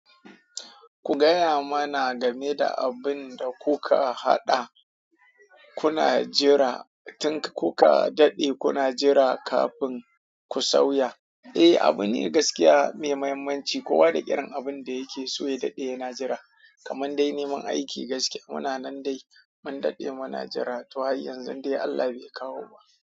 Ku gaya mana game da abun da kuka haɗa kuna jira, kuka daɗe kuna jira kafin ku tsauya. Eh, abune gaskiya mai mahimmanci kowa da irin abin da yake so ya daɗe yana jira, kamar dai neman aiki gaskiya. Muna nan dai mun daɗe muna jira, to har yanzu dai Allah bai kawo ba.